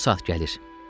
Bu saat gəlir.